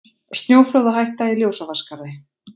Snjóflóðahætta í Ljósavatnsskarði